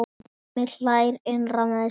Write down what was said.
Hemmi hlær innra með sér.